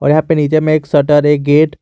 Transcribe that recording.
यहां पे नीचे में एक शटर एक गेट --